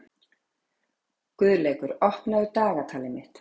Guðleikur, opnaðu dagatalið mitt.